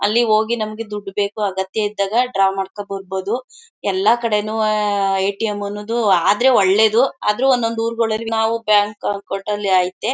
ಅಲ್ಲಿ ಹೋಗಿ ನಮಗೆ ದುಡ್ಡು ಬೇಕು ಅಗತ್ಯ ಇದ್ದಾಗ ಡ್ರಾ ಮಾಡ್ಕೊಂಡು ಬರ್ಬಹುದು. ಎಲ್ಲ ಕಡೆನೂವೇ ಎ.ಟಿ..ಎಂ. ಅನ್ನೋದು ಆದ್ರೆ ಒಳ್ಳೇದು. ಆದ್ರೆ ಒಂದೊಂದು ಊರುಗಳಲ್ಲಿ ನಾವು ಬ್ಯಾಂಕ್ ಅಕೌಂಟ್ ಐತೆ.